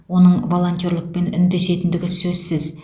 оның волонтерлікпен үндесетіндігі сөзсіз